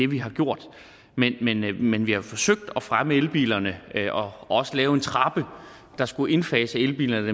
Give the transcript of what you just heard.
vi har gjort men vi men vi har forsøgt at fremme elbilerne og også lave en trappe der skulle indfase elbilerne